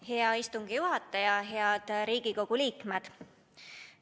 Hea istungi juhataja ja head Riigikogu liikmed!